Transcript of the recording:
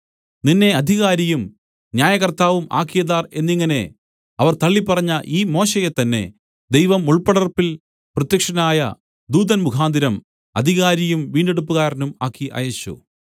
നിന്നെ അധികാരിയും ന്യായകർത്താവും ആക്കിയതാർ എന്നിങ്ങനെ അവർ തള്ളിപ്പറഞ്ഞ ഈ മോശെയെ തന്നെ ദൈവം മുൾപ്പടർപ്പിൽ പ്രത്യക്ഷനായ ദൂതൻ മുഖാന്തരം അധികാരിയും വീണ്ടെടുപ്പുകാരനും ആക്കി അയച്ചു